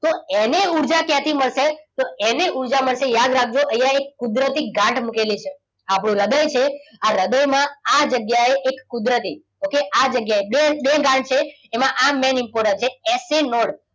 તો એને ઉર્જા ક્યાંથી મળશે? તો એને ઊર્જા મળશે યાદ રાખજો. અહીંયા એક કુદરતી ગાંઠ મૂકેલી છે. આપણું હૃદય છે આ હૃદયમાં આ જગ્યાએ એક કુદરતી okay આ જગ્યાએ બે બે ગાંઠ છે. આમાં આ main important છે. S A not.